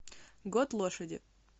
год лошади